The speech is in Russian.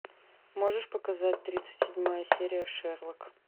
можешь показать тридцать седьмая серия шерлок